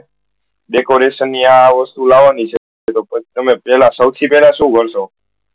decoration ની આ વસ્તુ લાવાની છે તો પછી તમે પેહલા સૌ થી પેહલા શું કરશો